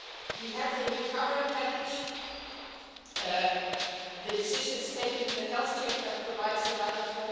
We have the recovery package and the decisions taken in the health check that provide another EUR